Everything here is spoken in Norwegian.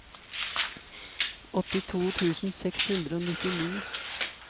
åttito tusen seks hundre og nittini